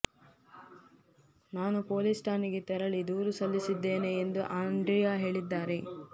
ನಾನು ಪೊಲೀಸ್ ಠಾಣೆಗೆ ತೆರಳಿ ದೂರು ಸಲ್ಲಿಸಿದ್ದೇನೆ ಎಂದು ಆಂದ್ರಿಯಾ ಹೇಳಿದ್ದಾರೆ